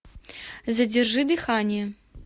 задержи дыхание